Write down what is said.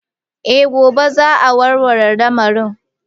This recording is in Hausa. Eh gobe za'a warware lamarin.